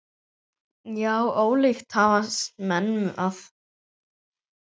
Já, ólíkt hafast menn að.